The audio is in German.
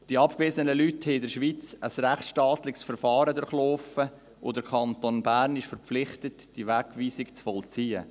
Die abgewiesenen Leute haben in der Schweiz ein rechtsstaatliches Verfahren durchlaufen, und der Kanton Bern ist verpflichtet, die Wegweisung zu vollziehen.